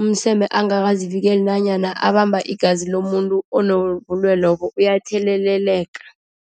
umseme angakazivikele nanyana abamba igazi lomuntu onobulwelobu, uyatheleleka.